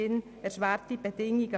Darin sind wir uns hier wohl einig.